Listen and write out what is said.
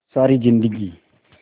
सारी जिंदगी